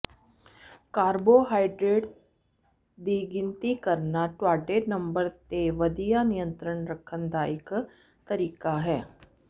carbohydrates ਦੀ ਗਿਣਤੀ ਕਰਨਾ ਤੁਹਾਡੇ ਨੰਬਰ ਤੇ ਵਧੀਆ ਨਿਯੰਤਰਣ ਰੱਖਣ ਦਾ ਇੱਕ ਤਰੀਕਾ ਹੈ